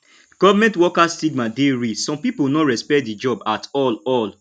government worker stigma dey real some pipo no respect di job at all all